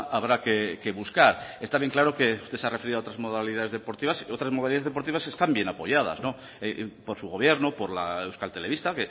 habrá que buscar está bien claro que usted se ha referido a otras modalidades deportivas y otras modalidades deportivas están bien apoyadas por su gobierno por la euskal telebista